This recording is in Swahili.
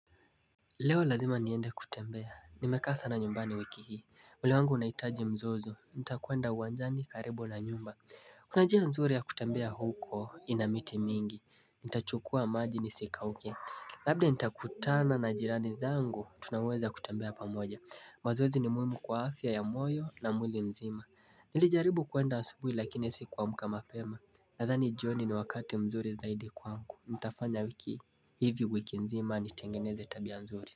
Leo lazima niende kutembea, nimekaa sana nyumbani wiki hii. Mwili wangu unahitaji mzozo, nitakuenda uwanjani karibu na nyumba Kuna njia nzuri ya kutembea huko ina miti mingi. Nitachukua maji nisikauke. Labda nitakutana na jirani zangu, tunaweza kutembea pamoja. Mazoezi ni muhimu kwa afya ya moyo na mwili mzima Nilijaribu kuenda asubuhi lakini sikuamka mapema. Nadhani jioni ni wakati mzuri zaidi kwa ku mtafanyalki hivi wiki nzima nitengeneze tabia nzuri.